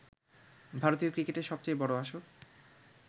ভারতীয় ক্রিকেটের সবচেয়ে বড় আসর